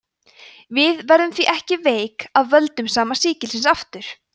við verðum því ekki veik af völdum sama sýkilsins aftur